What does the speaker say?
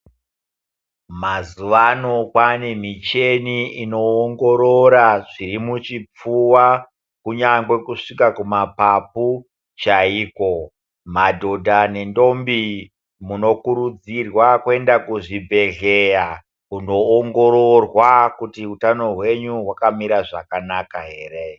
Mazuwa ano kwane micheni inoongorora zviri muchipfuwa, kunyangwe kusvika kumapapu chaiko. Madhodha nendombi munokurudzirwa kuenda kuzvibhedhleya kundoongororwa kuti utano hwenyu hwakamira zvakanaka here.